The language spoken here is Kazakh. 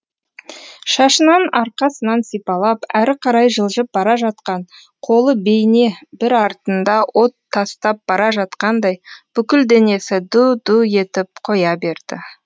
шашынан арқасынан сипалап әрі қарай жылжып бара жатқан қолы бейне бір артында от тастап бара жатқандай бүкіл денесі ду ду етіп қоя берді